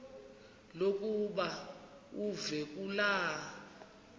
lokuba uve kulaa